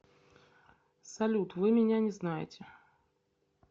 салют вы меня не знаете